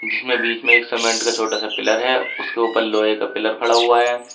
इसमें बीच में एक सीमेंट का छोटा सा पिलर है उसके ऊपर लोहे का पिलर खड़ा हुआ है।